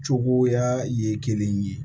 Cogoya ye kelen ye